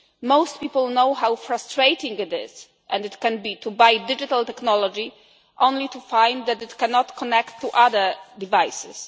Most people know how frustrating it is and can be to buy digital technology only to find that it cannot connect to other devices.